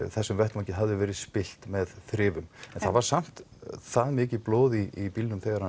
þessum vettvangi hafði verið spillt með þrifum en það var samt það mikið blóð í bílnum þegar